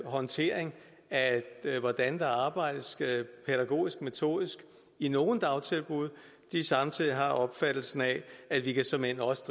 håndtering af hvordan der arbejdes pædagogisk metodisk i nogle dagtilbud samtidig har opfattelsen af at vi såmænd også